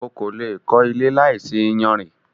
O kò le è kó ilé láìsí iyanrìn.